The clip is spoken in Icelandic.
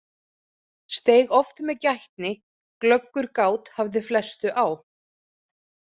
Steig oft með gætni, glöggur gát hafði flestu á.